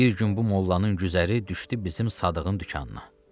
Bir gün bu mollanın güzəri düşdü bizim Sadığın dükanına.